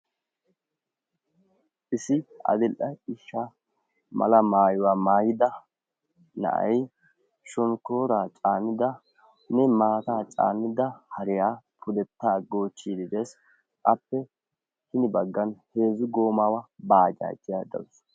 Issi adil"e ciishsha mala maayuwa maayida na'ay shonkkooraa caanidanne maataa caanida hariya pudettaa goochchiiddi dees. Appe hini baggan heezzu goomaawa baajaajiya dawusu.